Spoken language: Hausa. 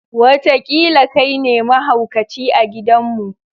Wataƙila kai ne mahaukaci a gidanmu.